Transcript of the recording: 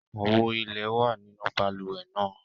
Àwo ilẹ̀ wà nínú balùwẹ̀ náà.